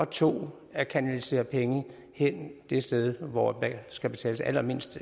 to at kanalisere penge hen det sted hvor der skal betales allermindst